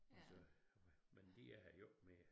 Og så men de er her jo ikke mere